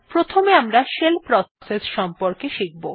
প্রথমে আমারা shell process সম্বন্ধে শিখব